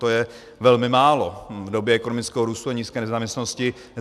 To je velmi málo v době ekonomického růstu a nízké nezaměstnanosti.